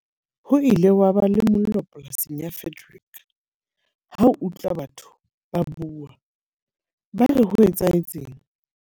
Ho ile wa ba le mollo polasing ya Frederick. Ha o utlwa batho ba bua, ba re ho etsahetseng?